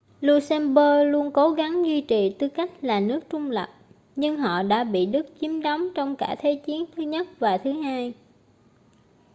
luxembourg luôn cố gắng duy trì tư cách là nước trung lập nhưng họ đã bị đức chiếm đóng trong cả thế chiến i và ii